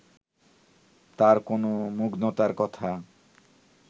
তাঁর কোনো মুগ্ধতার কথা